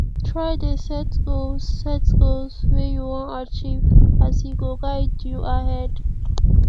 try dey set goals set goals wey you wan achieve as e go guide you ahead